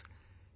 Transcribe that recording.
Friends,